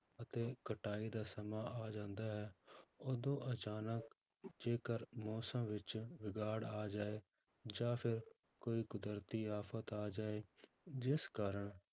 ਅਤੇ ਕਟਾਈ ਦਾ ਸਮਾਂ ਆ ਜਾਂਦਾ ਹੈ ਉਦੋਂ ਅਚਾਨਕ ਜੇਕਰ ਮੌਸਮ ਵਿੱਚ ਵਿਗਾੜ ਆ ਜਾਏ ਜਾਂ ਫਿਰ ਕੋਈ ਕੁਦਰਤੀ ਆਫ਼ਤ ਆ ਜਾਏ ਜਿਸ ਕਾਰਨ